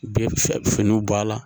U bɛ finiw bɔ a la